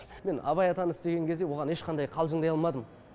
мен абай атаны істеген кезде оған ешқандай қалжыңдай алмадым